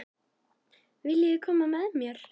Viljiði koma með mér?